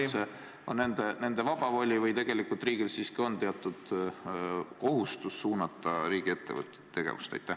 Kas see üldse on nende vaba voli või tegelikult on riigil siiski teatud kohustus suunata riigiettevõtete tegevust?